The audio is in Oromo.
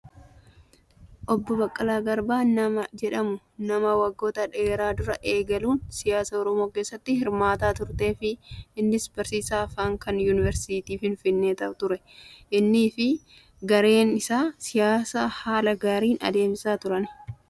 Obbo Baqqalaa Garbaa namni jedhamu nama waggoota dheeraa duraa eegaluun siyaasaa Oromoo keessatti hirmaataa turee fi innis barsiisaa afaanii kan yuunivarsiitii Finfinnee ture. Innis fi gareen isaa siyaasa haala gaariin adeemsisaa turan.